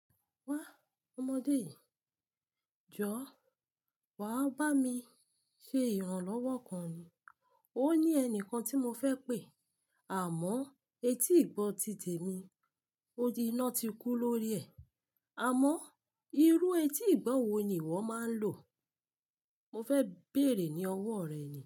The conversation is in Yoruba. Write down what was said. Wa ọmọdé yi, jọ wa ba mi ṣe iranlọwọ kan ni. O ni ẹnikan ti mo fẹ pe, àmọ eti igbọ ti tèmi. O tì ina ti kú lórí ẹ. Àmọ irú etí ìgbọ̀ wò ni ìwọ máa n lò? Mo fẹ bẹ̀ẹ̀rẹ̀ ní ọwọ rẹ ni.